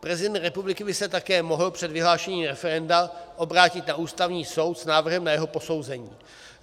Prezident republiky by se také mohl před vyhlášením referenda obrátit na Ústavní soud s návrhem na jeho posouzení.